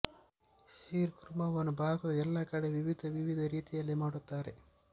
sheer ಖುರ್ಮಾವನ್ನು ಭಾರತದ ಎಲ್ಲಾ ಕಡೆ ವಿವಿದ ವಿವಿದ ರೀತಿಯಲ್ಲಿ ಮಾಡುತ್ತಾರೆ